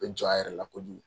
bɛ jɔ a yɛrɛ la kojugu.